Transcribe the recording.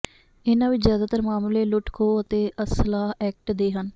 ਇਹਨਾਂ ਵਿੱਚ ਜਿਆਦਾਤਰ ਮਾਮਲੇ ਲੁੱਟ ਖੋਹ ਅਤੇ ਅਸਲਾਹ ਐਕਟ ਦੇ ਹਨ